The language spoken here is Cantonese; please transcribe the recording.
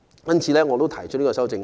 因此，我提出這項修正案。